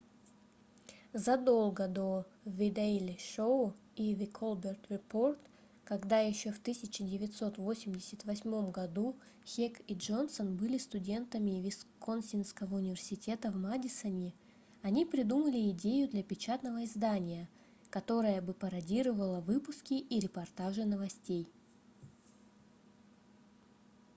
задолго до the daily show и the colbert report когда еще в 1988 году хек и джонсон были студентами висконсинского университета в мадисоне они придумали идею для печатного издания которое бы пародировало выпуски и репортажи новостей